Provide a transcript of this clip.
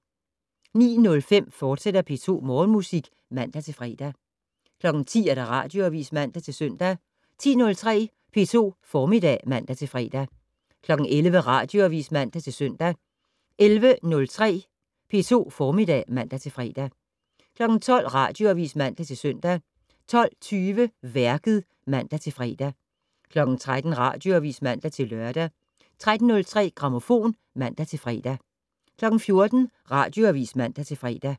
09:05: P2 Morgenmusik, fortsat (man-fre) 10:00: Radioavis (man-søn) 10:03: P2 Formiddag (man-fre) 11:00: Radioavis (man-søn) 11:03: P2 Formiddag (man-fre) 12:00: Radioavis (man-søn) 12:20: Værket (man-fre) 13:00: Radioavis (man-lør) 13:03: Grammofon (man-fre) 14:00: Radioavis (man-fre)